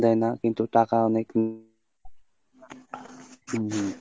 দেয় না কিন্তু টাকা অনেক হম